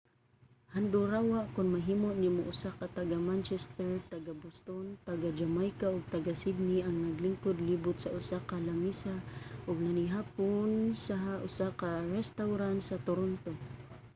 handurawa kon mahimo nimo usa ka taga-manchester taga-boston taga-jamaica ug taga-sydney ang naglingkod libot sa usa ka lamesa ug nanihapon sa usa ka restawran sa toronto